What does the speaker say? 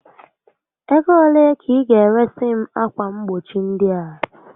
Ego ole ka ị ga eresi m akwa mgbochi ndị a?